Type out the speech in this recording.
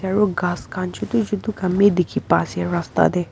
Aro ghas khan chutu chutu khan bhi dekhi pa ase rasta dae.